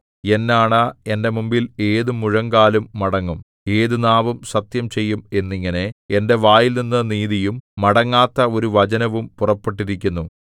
എന്നാണ എന്റെ മുമ്പിൽ ഏതു മുഴങ്കാലും മടങ്ങും ഏതു നാവും സത്യം ചെയ്യും എന്നിങ്ങനെ എന്റെ വായിൽനിന്നു നീതിയും മടങ്ങാത്ത ഒരു വചനവും പുറപ്പെട്ടിരിക്കുന്നു